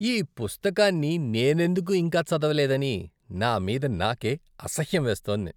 ఈ పుస్తకాన్ని నేనెందుకు ఇంకా చదవలేదని నా మీద నాకే అసహ్యం వేస్తోంది.